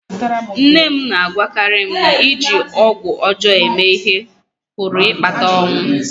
Nne m na-agwakarị m na iji ọgwụ ọjọọ eme ihe pụrụ ịkpata ọnwụ